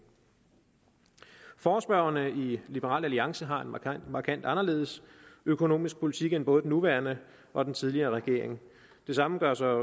forespørgerne i liberal alliance har en markant markant anderledes økonomisk politik end både den nuværende og den tidligere regering det samme gør sig